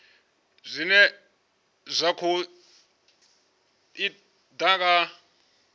zwine zwa khou ḓa nga